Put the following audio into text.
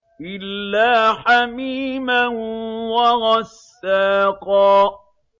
إِلَّا حَمِيمًا وَغَسَّاقًا